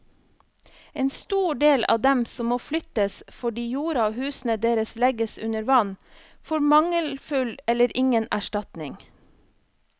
En stor del av dem som må flyttes fordi jorda og husene deres legges under vann, får mangelfull eller ingen erstatning.